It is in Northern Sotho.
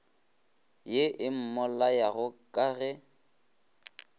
ye e mmolayago ka ge